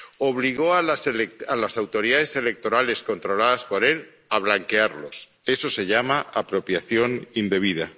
obligó a las autoridades electorales controladas por él a blanquearlos eso se llama apropiación indebida